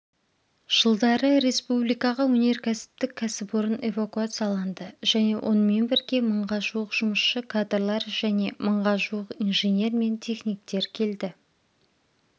жылдары республикаға өнеркәсіптік кәсіпорын эвакуацияланды және осымен бірге мыңға жуық жұмысшы кадрлар және мыңға жуық инженер мен техниктер келді